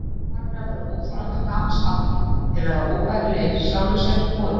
Líf margra verður óþolandi á gamals aldri, þeir verða óbærilegir sjálfum sér og öðrum.